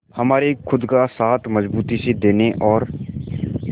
हमारे खुद का साथ मजबूती से देने और